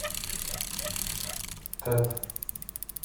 тет